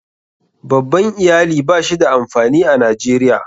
Babban Iyali ba shi da amfani a Najeriya.